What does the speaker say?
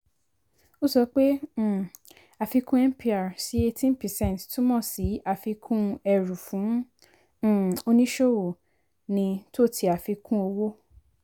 ó sọ pé um àfikún mpr sí 18 percent túmọ̀ sí àfikún ẹrù fún um oníṣòwò ní tò ti àfikún owó.